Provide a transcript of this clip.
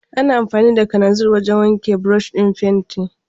Ana amfani da kananzir wajen wanke burushin fenti.